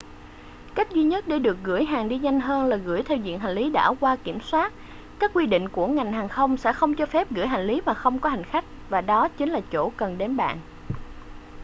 cách duy nhất để gửi được hàng đi nhanh hơn là gửi theo diện hành lý đã qua kiểm soát các quy định của ngành hàng không sẽ không cho phép gửi hành lý mà không có hành khách và đó chính là chỗ cần đến bạn